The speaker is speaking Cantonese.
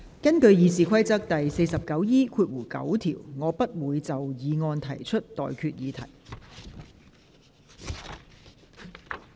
根據《議事規則》第 49E9 條，我不會就議案提出待決議題。